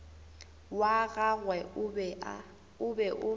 wa gagwe o be o